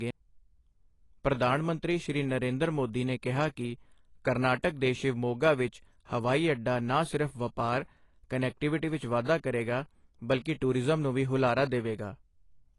ਪਧਾਨ ਮੰਤਰੀ, ਸ਼੍ਰੀ ਨਰੇਂਦਰ ਮੋਦੀ ਨੇ ਕਿਹਾ ਕਿ ਕਰਨਾਟਕ ਦੇ ਸ਼ਿਵਮੋੱਗਾ ਵਿੱਚ ਹਵਾਈ ਅੱਡਾ ਨਾ ਸਿਰਫ ਵਪਾਰ, ਕਨੈਟੀਵਿਟੀ ਵਿੱਚ ਵਾਧਾ ਕਰੇਗਾ ਬਲਿਕ ਟੂਰਿਜ਼ਮ ਨੂੰ ਵੀ ਹੁਲਾਰਾ ਦੇਵੇਗਾ।